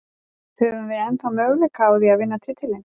Höfum við ennþá möguleika á því að vinna titilinn?